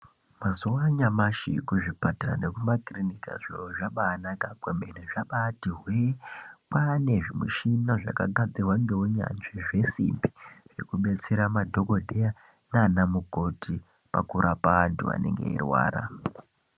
Mazuwa anyamashi kuzvipatara nekumakirinika zviro zvabanaka kwemene zvabati hwee. Kwane zvimushini zvakagadzirwa ngeunyanzvi zvesimbi zvekubatsira madhokodheya nana mukoti pakurapwa antu anenge eirwara.